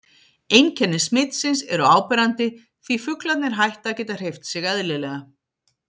Einkenni smitsins eru áberandi því fuglarnir hætta að geta hreyft sig eðlilega.